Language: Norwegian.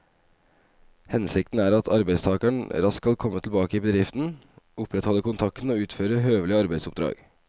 Hensikten er at arbeidstakeren raskt skal komme tilbake i bedriften, opprettholde kontakten og utføre høvelige arbeidsoppdrag.